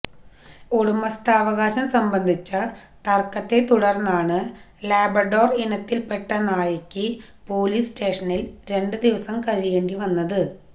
ഉടമസ്ഥാവകാശം സംബന്ധിച്ച തര്ക്കത്തെത്തടുര്ന്നാണ് ലാബ്രഡോര് ഇനത്തില് പെട്ട നായയ്ക്ക് പോലീസ് സ്റ്റേഷനില് രണ്ട് ദിവസം കഴിയേണ്ടിവന്നത്